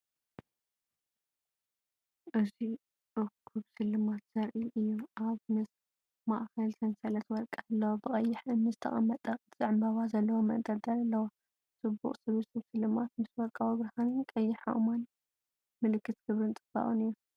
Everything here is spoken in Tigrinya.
እዚ እኩብ ስልማት ዘርኢ እዩ። ኣብ ማእከል ሰንሰለት ወርቂ ኣሎ፣ ብቐይሕ እምኒ ዝተቐመጠ ቅርጺ ዕምባባ ዘለዎ መንጠልጠሊ ኣለዎ። ጽቡቕ ስብስብ ስልማት ምስ ወርቃዊ ብርሃንን ቀይሕ ኣእማንን፡ ምልክት ክብርን ጽባቐን እዩ።